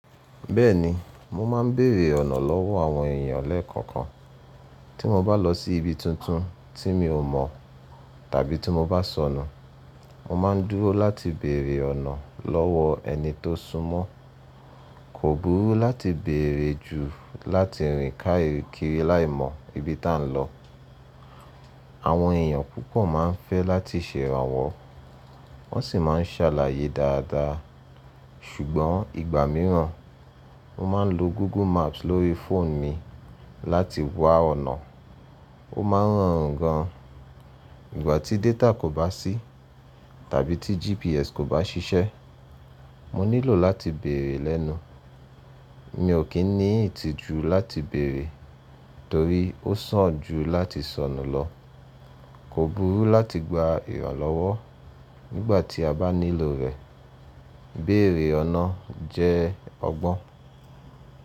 Bẹ́ẹ̀ni, mo ma ń bèrè ọ̀nà lọ́wọ́ àwọn èèyàn lẹ́ẹ̀kọ̀kan. Tí mo bá lọ sí ibi tuntun tí mi ò mọ̀ tàbí ti mo bá sọnu, mo máa ń dúró láti bèrè ọ̀nà lọ́wọ́ ẹni tó sún mọ́. Kò burú láti bèrè jù láti rìn ká ìrìnkìrì láì mọ ibi ta ń lọ. Àwọn èèyàn púpọ̀ máa ń fẹ́ láti ṣèrànwọ́, wọ́n sì máa ń ṣàlàyé dáadáa. Sùgbọ́n ìgbà mìíràn, mo máa ń lo Google Maps lórí fóònù mi láti wa ọ̀nà, ó máa ń rọrun gan. Ìgbà tí détà kò bá sí tàbí tí GPS kò bá ṣiṣẹ́, mo nílò láti bèrè lẹ́nu. Mi ò kì í ní ìtijù láti bèrè torí ó sán jù láti sọnù lọ. Kò burú láti gba ìrànlọ́wọ́ nígbà tí a bá nílò rẹ̀. Bèrè ọ̀nà jẹ́ ọgbọ́n.